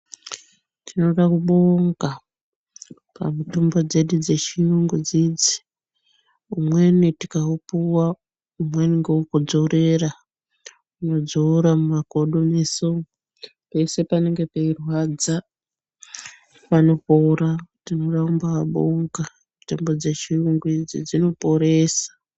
Tinoda kubonga pamutombo dzedu dzechiyungu idzidzi, umweni tikaupuwa umweni ngewekudzorera , unodzora mumakodo mese umu pese panenge peirwadza panopora tinoda kubabonga mitombo dzechiyungu idzi dzinoporesa.